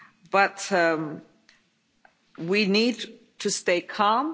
But we need to stay calm.